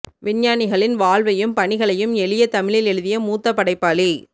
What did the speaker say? விஞ்ஞானிகளின் வாழ்வையும் பணிகளையும் எளிய தமிழில் எழுதிய மூத்த படைப்பாளி